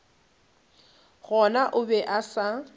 gona o be a sa